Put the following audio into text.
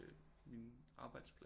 Min arbejdsplads